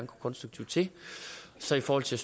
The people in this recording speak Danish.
gå konstruktivt til så i forhold til